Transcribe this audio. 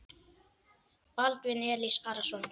Baldvin Elís Arason.